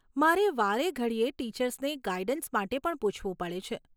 મારે વારેઘડીએ ટીચર્સને ગાઈડન્સ માટે પણ પૂછવું પડે છે.